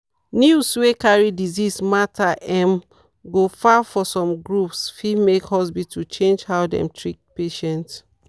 news wey carry disease matter um go far for some groups fit make hospitals change how dem treat patients.